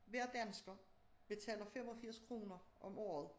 Hver dansker betaler 85 kroner om året